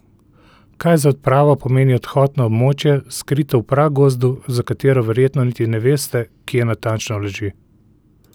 Kaj za odpravo pomeni odhod na območje, skrito v pragozdu, za katero verjetno niti ne veste, kje natančno leži?